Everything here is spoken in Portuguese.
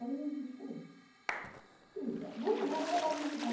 Aí, eu disse, eh, sei lá, vamos lá, vai lá visitar.